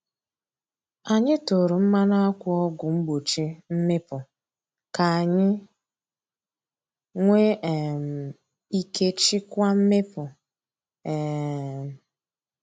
Anyị tụrụ mmanụ akwa ọgwụ mgbochi mmịpu ka anyị nwee um ike chịkwaa mmịpu. um